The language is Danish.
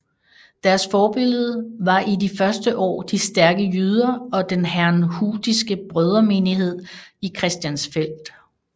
Deres forbillede var i de første år de stærke jyder og den herrnhutiske brødremenighed i Christiansfeld